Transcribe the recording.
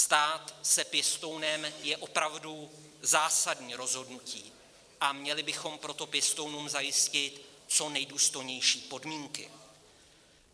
Stát se pěstounem je opravdu zásadní rozhodnutí, a měli bychom proto pěstounům zajistit co nejdůstojnější podmínky.